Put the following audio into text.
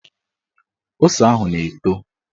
Ose ahụ na-eto